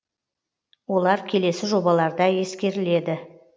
олар келесі жобаларда ескеріледі